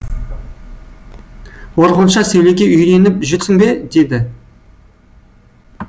орхонша сөйлеуге үйреніп жүрсің бе деді